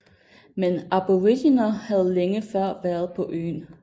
Men aboriginer havde længe før været på øen